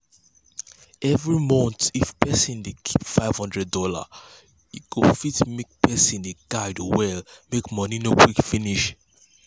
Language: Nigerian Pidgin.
every month if person dey keep five hundred dollars e go fit make person de guide well make money no quick finish.